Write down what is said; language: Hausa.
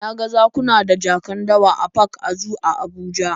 Na ga zakuna da jakan dawa a park and zoo a Abuja